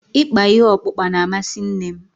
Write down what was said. Ịkpa ihe ọkpụkpa na-amasị nne m.